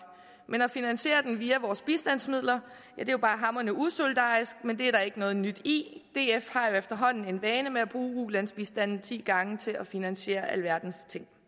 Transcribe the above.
men at finansiere den via bistandsmidlerne er hamrende usolidarisk men det er der ikke noget nyt i df har jo efterhånden en vane med at ulandsbistanden ti gange til at finansiere alverdens ting